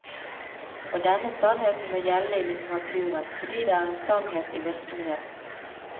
Og denne sannheten må gjelde i litteraturen, fordi det er en sannhet i virkeligheten.